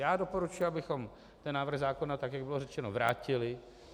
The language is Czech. Já doporučuji, abychom ten návrh zákona, tak jak bylo řečeno, vrátili.